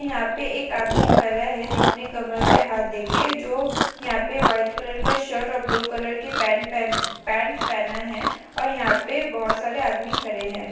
यहाँ पे एक आदमी खरा है जो अपने कमर पे हाथ दे के जो यहाँ पे वाइट कलर का शर्ट और ब्लू कलर के पेंट पहना है और यहाँ पे बहोत सारे आदमी खरे है।